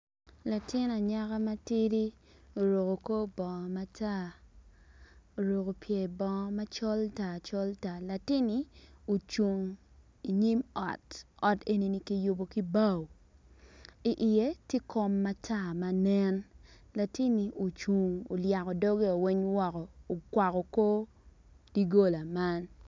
Latin anyaka matidi oruku kor bongo matar oruku pyer bongo macol tar col tar latin-ni ocung inyim ot, ot en-ni kiyubu ki bao iye ti kom matar ma nen latin-ni ocungn oyako doggeo weny woko okwako kor diggola man